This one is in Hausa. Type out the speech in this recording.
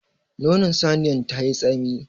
Nonon saniyan tayi tsami.